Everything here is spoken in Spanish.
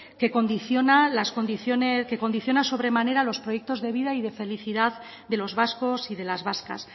que condiciona sobre manera los proyectos de vida y de felicidad de los vascos y de las vascas